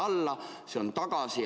See tuleb siia tagasi.